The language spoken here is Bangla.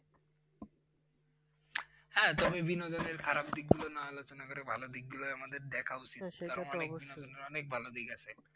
হ্যাঁ তুমি বিনোদনের খারপ দিক গুলো না আলোচনা করে ভালো দিক গুলোই আমাদের দেখা উচিত, অনেক বিনোদনের অনেক ভালো দিক আছে।